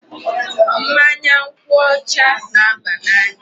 Mmanya nkwụ ọcha na-aba n"anya.